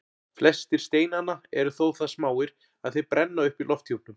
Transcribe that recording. Flestir steinanna eru þó það smáir að þeir brenna upp í lofthjúpnum.